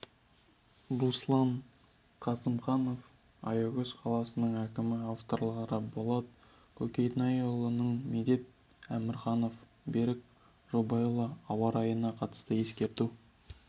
руслан қасымжанов аягөз қаласының әкімі авторлары болат көкенайұлы медет өмірханов берік жобалайұлы ауа райына қатысты ескерту